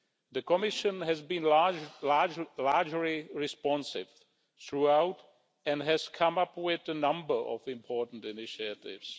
The Commission has been largely responsive throughout and has come up with a number of important initiatives.